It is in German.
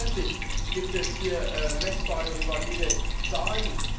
Selbstverständlich gibt es hier messbare und valide Zahlen.